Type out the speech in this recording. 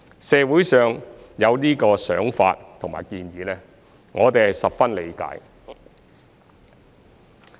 社會上有這個想法和建議，我們十分理解。